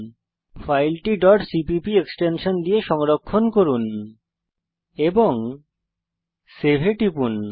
এখন ফাইলটি cpp extension দিয়ে সংরক্ষণ করুন এবং সেভ এ টিপুন